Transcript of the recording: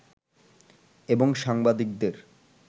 এবং সাংবাদিকদের